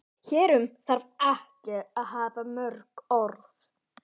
Hér um þarf ekki að hafa mörg orð.